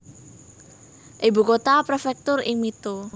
Ibu kota prefektur ing Mito